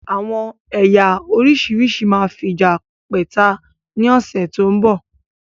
Àwọn ẹ̀yà oríṣiríṣi máa fija pẹ́ta ni ọ̀sẹ̀ tó ń bọ̀